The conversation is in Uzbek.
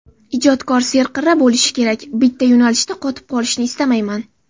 Ijodkor serqirra bo‘lishi kerak, bitta yo‘nalishda qotib qolishni istamayman.